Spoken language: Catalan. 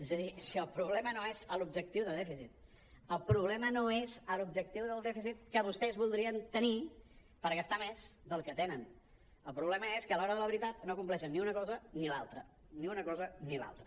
és a dir si el problema no és l’objectiu de dèficit el problema no és l’objectiu del dèficit que vostès voldrien tenir per gastar més del que tenen el problema és que a l’hora de la veritat no compleixen ni una cosa ni l’altra ni una cosa ni l’altra